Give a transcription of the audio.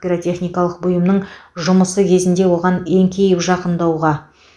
пиротехникалық бұйымның жұмысы кезінде оған еңкейіп жақындауға